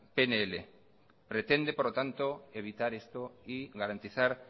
pnl pretende por lo tanto garantizar